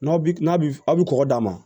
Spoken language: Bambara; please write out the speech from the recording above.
N'a bi n'a bi a bi kɔkɔ d'a ma